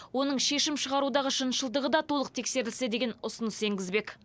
оның шешім шығарудағы шыншылдығы да толық тексерілсе деген ұсыныс енгізбек